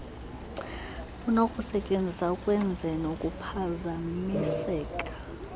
lunokusetyenziswa ukwenzeni ukuphazamiseka